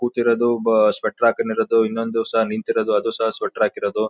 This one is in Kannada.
ಕೂತಿರದು ಒಬ್ಬ ಸ್ವೆಟರ್ ಹಾಕಂಡ್ ಇರದು ಇನ್ನೊಂದು ಸಹ ನಿಂತ್ ಇರದು ಅದು ಸಹ ಸ್ವೆಟರ್ ಹಾಕಿರದು.